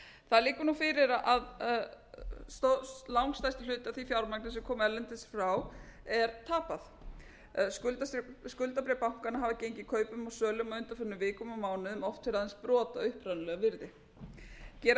það liggur nú fyrir að langstærstur hluti af því fjármagni sem kom erlendis frá er tapað skuldabréf bankanna hafa gengið kaupum og sölum á undanförnum vikum og mánuðum oft fyrir aðeins brot af upprunalegu virði gera má ráð